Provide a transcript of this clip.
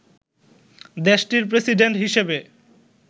দেশটির প্রেসিডেন্ট হিসেবে